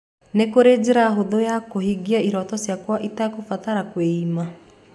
Nĩ kũrĩ njĩra hũthũ ya kũhingia iroto ciakwa itekũbatara kwĩima?